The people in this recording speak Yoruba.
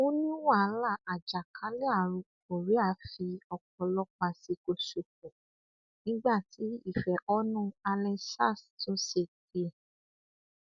ó ní wàhálà àjàkálẹ àrùn korea fi ọpọlọpọ àsìkò ṣòfò nígbà tí ìfẹhónú han endsars tún ṣe tiẹ